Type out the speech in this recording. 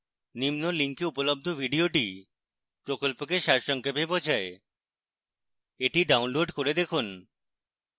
নিম্ন link উপলব্ধ video প্রকল্পকে সারসংক্ষেপ বোঝায় the download করে দেখুন